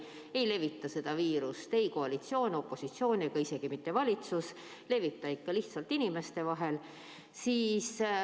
Ei levita seda viirust ei koalitsioon, opositsioon ega isegi mitte valitsus, see levib ikka lihtsalt inimeste vahel.